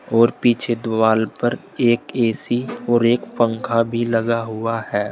और पीछे दीवाल पर एक ए_सी और एक पंखा भी लगा हुआ है।